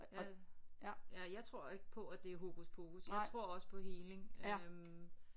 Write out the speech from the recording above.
Ja ja jeg tror ikke på at det er hokus pokus jeg tror også på healing øh